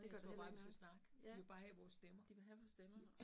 Det gør heller ikke noget, ja. De vil have vores stemmer